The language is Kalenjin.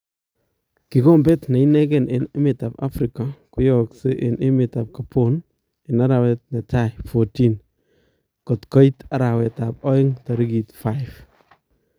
Kikombeet neinekeei en emetab Afrika koyaakse en emeetab Gabon en arawet netai 14 koit arawetab aeng tarikit 5